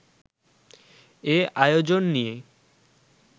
এ আয়োজন নিয়ে